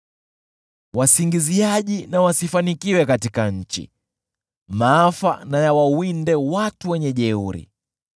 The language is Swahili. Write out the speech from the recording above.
Wasingiziaji wasifanikiwe katika nchi; maafa na yawawinde watu wenye jeuri.